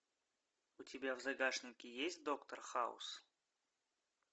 у тебя в загашнике есть доктор хаус